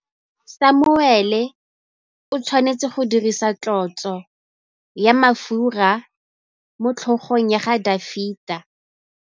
Samuele o tshwanetse go dirisa tlotsô ya mafura motlhôgong ya Dafita.